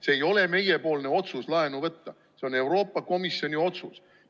See ei ole meiepoolne otsus laenu võtta, see on Euroopa Komisjoni otsus.